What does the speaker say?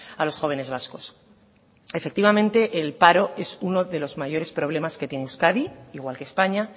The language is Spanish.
a los jóvenes vascos efectivamente el paro es uno de los mayores problemas que tiene euskadi igual que españa